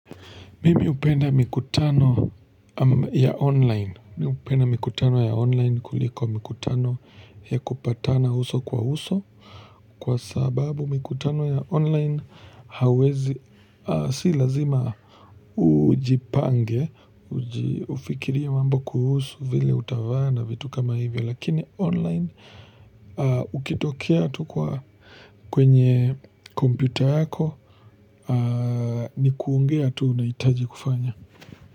Mimi hupenda mikutano ya online kuliko mikutano ya kupatana uso kwa uso, kwa sababu mikutano ya online hauwezi si lazima ujipange kufikiria mambo kuhusu vile utavaa na vitu kama hivyo, lakini online ukitokea tu kwa kwenye kompyuta yako ni kuongea tu unahitaji kufanya.